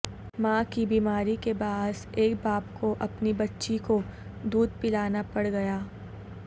ماں کی بیماری کے باعث ایک باپ کو اپنی بچی کو دودھ پلانا پڑ گیا